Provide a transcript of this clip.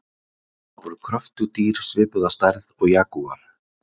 þetta voru kröftug dýr svipuð að stærð og jagúar